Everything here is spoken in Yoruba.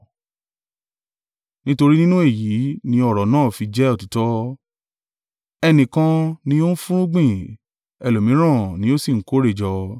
Nítorí nínú èyí ni ọ̀rọ̀ náà fi jẹ́ òtítọ́, ‘Ẹnìkan ni ó fúnrúgbìn, ẹlòmíràn ni ó sì ń kórè jọ.’